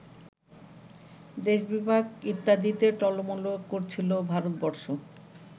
দেশবিভাগ ইত্যাদিতে টলমল করছিল ভারতবর্ষ